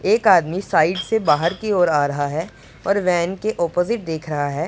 एक आदमी साइड से बाहर की ओर आ रहा है और वैन के अपोजिट देख रहा है।